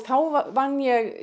þá vann ég